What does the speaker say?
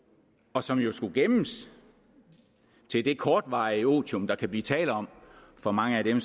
og som jo skulle gemmes til det kortvarige otium der kan blive tale om for mange af dem